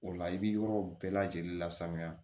O la i bɛ yɔrɔw bɛɛ lajɛlen lasaniya